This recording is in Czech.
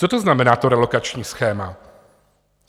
Co to znamená to relokační schéma?